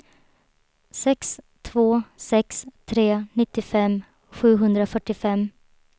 sex två sex tre nittiofem sjuhundrafyrtiofem